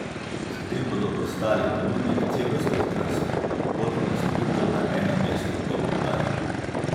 S tem bodo postali ponudnik celostnih transportnih storitev na enem mestu, je poudaril.